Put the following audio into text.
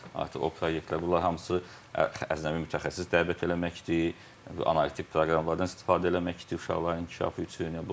Artıq o proyektlər, bunlar hamısı əcnəbi mütəxəssis dəvət eləməkdir, analitik proqramlardan istifadə eləməkdir uşaqların inkişafı üçün.